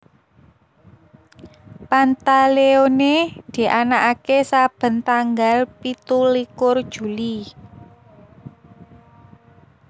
Pantaleone dianakaké saben tanggal pitu likur Juli